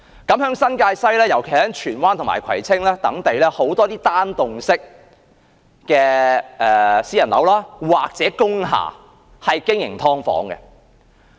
在新界西，尤其是荃灣及葵青等地區，許多單幢式私人樓或工廈也是經營"劏房"的。